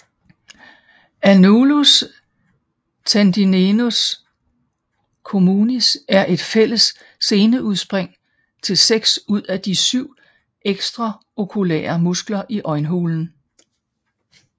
Annnulus tendineus communis er et fælles seneudspring til 6 ud af de 7 ekstraokulære muskler i øjenhulen